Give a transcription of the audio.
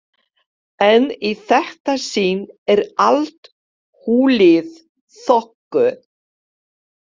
En í þetta sinn er allt hulið þoku.